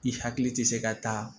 I hakili tɛ se ka taa